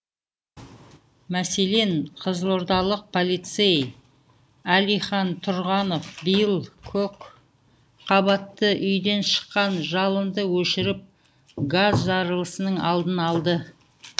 мәселен қызылордалық полицей әлихан тұрғанов биыл көпқабатты үйден шыққан жалынды өшіріп газ жарылысының алдын алды